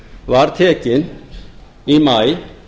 var tekin í maí